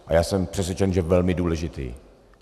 A já jsem přesvědčen, že velmi důležitý.